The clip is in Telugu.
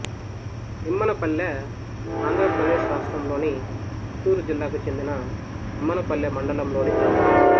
నిమ్మనపల్లె ఆంధ్ర ప్రదేశ్ రాష్ట్రములోని చిత్తూరు జిల్లాకు చెందిన నిమ్మనపల్లె మండలం లోని గ్రామం